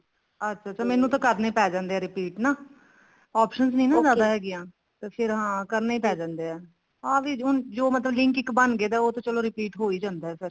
ਅੱਛਾ ਅੱਛਾ ਮੈਨੂੰ ਤਾਂ ਕਰਨੇ ਪੈ ਜਾਂਦੇ ਨੇ repeat ਹਨਾ options ਨੀ ਨਾ ਜਿਆਦਾ ਹੈਗੀਆਂ ਤੇ ਫ਼ੇਰ ਹਾਂ ਕਰਨਾ ਹੀ ਪੈ ਜਾਂਦਾ ਹਾਂ ਵੀ ਜੋ link ਹੁਣ ਬਣਗੇ ਉਹ ਤਾਂ ਚਲੋ repeat ਹੋ ਹੀ ਜਾਂਦਾ ਫ਼ੇਰ